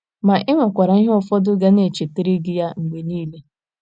Ma, e nwekwara ihe ụfọdụ ga na - echetara gị ya mgbe niile.